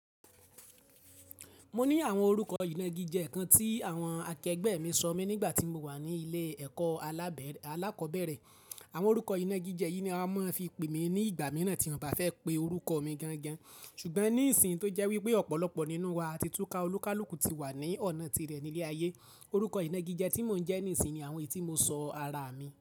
Mo ní àwọn orúkọ ìnagíjẹ kan tí àwọn akẹgbẹ́ mi sọ mí nígbà tí mo wà ní ilé ẹ̀kọ́ alákọ̀ọ́bẹ̀rẹ̀. Àwọn orúkọ ìnagijẹ yìí ni a máa ń fi pè mí ní ìgbà mìíràn tí àwọn ọba fẹ́ pe orúkọ mi gangan. Ṣùgbọ́n ní ìsìn tó jẹ́ wípé ọ̀pọ̀lọpọ̀ nínú wa ti túká olúkúlùkù ti wà ní ọ̀nà tirẹ̀ nílé ayé, orúkọ ìnagijẹ tí mò ń jẹ́ ní ìsìn ni àwọn èyí tí mo sọ ara mi.